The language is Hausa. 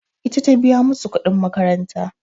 Ita ta biya musu kuɗin makaranta.